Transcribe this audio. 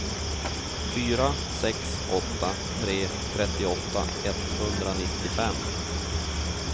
fyra sex åtta tre trettioåtta etthundranittiofem